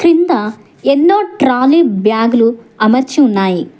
కింద ఎన్నో ట్రాలీ బ్యాగులు అమర్చి ఉన్నాయి.